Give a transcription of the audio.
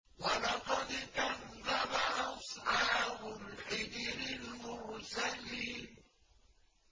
وَلَقَدْ كَذَّبَ أَصْحَابُ الْحِجْرِ الْمُرْسَلِينَ